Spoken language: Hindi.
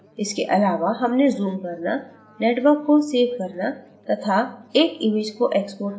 इसके अलावा हमने zoom करना network को सेव करना तथा एक image को exporting करना भी सीखा